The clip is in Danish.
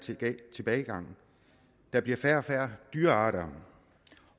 tilbagegang der bliver færre og færre dyrearter